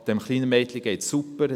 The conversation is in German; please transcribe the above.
dem kleinen Mädchen geht es super.